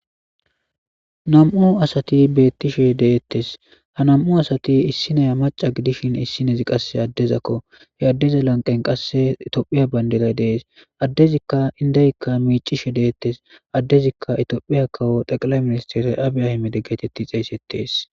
Nam'u asati beettishe deettes ha nam'u asati issinaya maca gidishin issinezi qasse addezakko he addeza lanqen qasse tophiya bandilay dees addezikka indeykka miicishe deettes addezikka itoophiya kawo xeqila ministere aabiyahi mede geetetti xeeysettees.